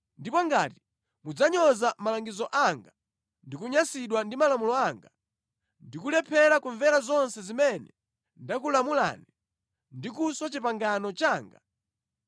ndipo ngati mudzanyoza malangizo anga ndi kunyansidwa ndi malamulo anga, ndi kulephera kumvera zonse zimene ndakulamulani, ndi kuswa pangano langa,